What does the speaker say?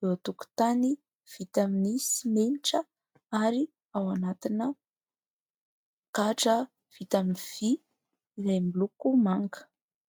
eo an-tokotany vita amin'ny simenitra ary ao anatina gadra vita amin'ny vy izay miloko manga.